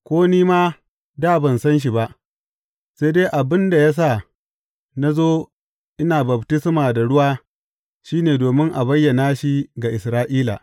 Ko ni ma dā ban san shi ba, sai dai abin da ya sa na zo ina baftisma da ruwa shi ne domin a bayyana shi ga Isra’ila.